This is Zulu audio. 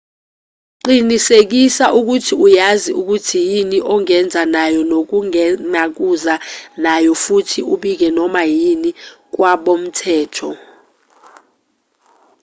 qinisekisa ukuthi uyazi ukuthi yini ongeza nayo nongenakuza nayo futhi ubike noma yini kwabomthetho